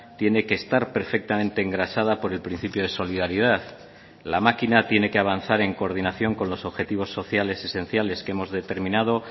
tiene que estar perfectamente engrasada por el principio de solidaridad la máquina tiene que avanzar en coordinación con los objetivos sociales esenciales que hemos determinado